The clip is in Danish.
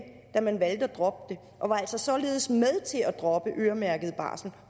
da man valgte at droppe den og var således med til at droppe den øremærkede barsel